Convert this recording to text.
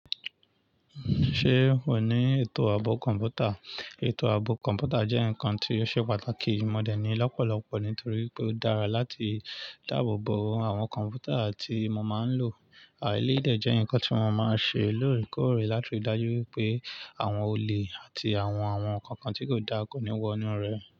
Ṣé o ní ètò ààbò kọ̀ǹpútà? Ètò ààbò kọ̀ǹpútà jẹ́ nǹkan tí ó ṣe pàtàkì. Mo dẹ̀ ní lọ́pọ̀lọ́pọ̀ nítorí pé ó dára láti dáàbò bo àwọn kọ̀ǹpútà tí mo máa ń lò. Eléyìí dẹ jẹ́ ǹkan tí mo máa ń ṣe lóòrèkóòrè láti rí i dájú pé àwọn olè àti àwọn ǹkan kan tí kò dáa kò ní wọ inú rẹ̀.